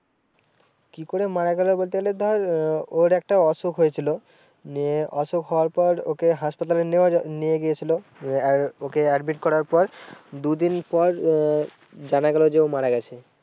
কি করে মারা গেলো বলতে গেলে ধর আহ ওর একটা অসুখ হয়েছিল। নিয়ে অসুখ হওয়ার পর ওকে হাসপাতালে নিয়ে গিয়ে ছিল। ওকে admit করার পর দু দিন পর আহ জানা গেলো যে ও মারা গেছে।